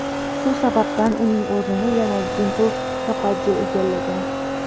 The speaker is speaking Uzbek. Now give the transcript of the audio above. Shu sababdan uning o‘rnini yana Dimpl Kapadiya egallagan.